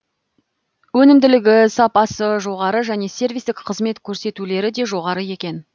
өнімділігі сапасы жоғары және сервистік қызмет көрсетулері де жоғары екен